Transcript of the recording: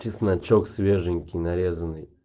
чесночок свеженький нарезанный